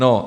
No.